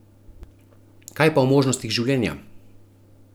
Kaj pa o možnostih življenja?